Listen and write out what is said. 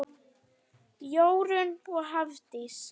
Jórunn og Hafdís.